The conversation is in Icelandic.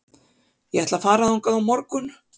Ég ætla að fara þangað á morgun.